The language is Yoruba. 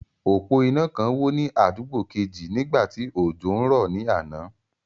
Òpó iná kan wó ní àdúgbò kejì nígbà tí òjò ń rọ̀ ní àná.